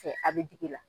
Cɛ a bɛ digi la